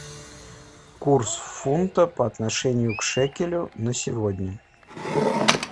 курс фунта по отношению к шекелю на сегодня